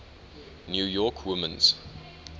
new york women's